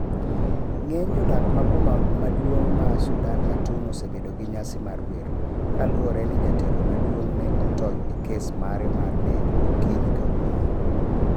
Ng'eny jodak ma boma maduong ma sudan, Khaurtum osebedo gi nyasi mar wer. kaluwore ni jatelo maduong' ne otony e kes mare mar nek okinyi kawuono